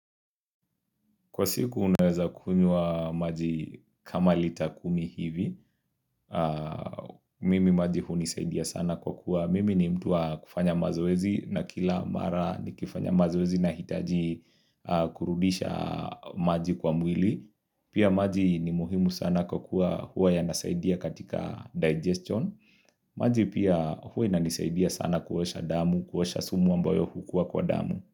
Kwa siku unaweza kunywa maji kama litakumi hivi Mimi maji hunisaidia sana kwa kuwa Mimi ni mtu wa kufanya mazoezi na kila mara ni kifanya mazoezi na hitaji kurudisha maji kwa mwili Pia maji ni muhimu sana kwa kuwa huwa yanasaidia katika digestion maji pia huwa ina nisaidia sana kuosha damu, kuosha sumu ambayo hukua kwa damu.